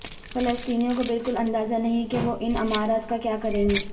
فلسطینیوں کو بالکل اندازہ نہیں کہ وہ ان عمارات کا کیا کریں گے